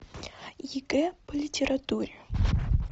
егэ по литературе